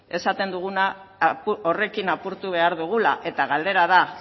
esaten duguna horrekin apurtu behar dugula eta galdera da